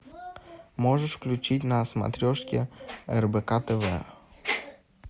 можешь включить на смотрешке рбк тв